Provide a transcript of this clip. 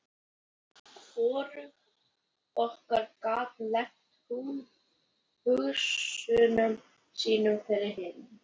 Hvorugt okkar gat leynt hugsunum sínum fyrir hinu.